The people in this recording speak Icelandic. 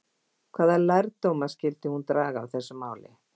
Hvaða lærdóma skyldi hún draga af þessu máli?